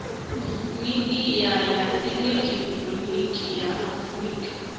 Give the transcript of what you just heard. midia ya elekihironiki ya afurika